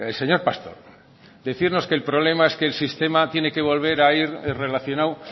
señor pastor decirnos que el problema es que el sistema tiene que volver a ir relacionado